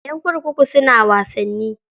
Ƴan kurkuku suna wasanni.